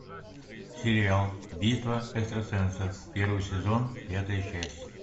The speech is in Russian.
сериал битва экстрасенсов первый сезон пятая часть